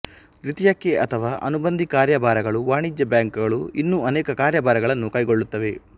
ದ್ವಿತೀಯಕ್ಕೆ ಅಥವಾ ಅನುಬಂಧಿ ಕಾರ್ಯಭಾರಗಳು ವಾಣಿಜ್ಯ ಬ್ಯಾಂಕುಗಳು ಇನ್ನು ಅನೇಕ ಕಾರ್ಯಭಾರಗಳನ್ನು ಕೈಗೊಳ್ಳುತ್ತವೆ